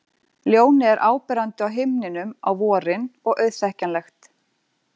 Ljónið er áberandi á himninum á vorin og auðþekkjanlegt.